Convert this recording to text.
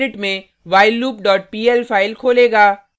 यह gedit में whilelooppl file खोलेगा